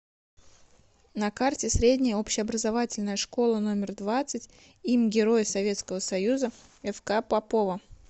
на карте средняя общеобразовательная школа номер двадцать им героя советского союза фк попова